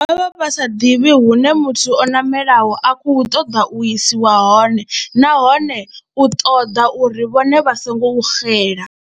Vha vha vha sa ḓivhi hune muthu o ṋamelaho a khou ṱoḓa u isiwa hone nahone u ṱoḓa uri vhone vha songo xela.